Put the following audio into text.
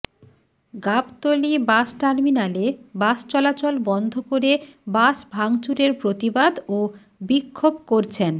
Gabtali bus টার্মিনালে bus চলাচল বন্ধ করে বাস ভাঙচুরের প্রতিবাদ ও বিক্ষোভ করছেন